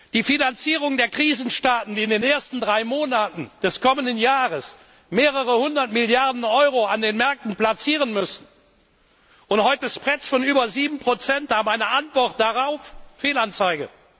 Die Finanzierung der Krisenstaaten, die in den ersten drei Monaten des kommenden Jahres mehrere 100 Milliarden EUR an den Märkten platzieren müssen und heute Spreads von über 7 haben, eine Antwort darauf Fehlanzeige.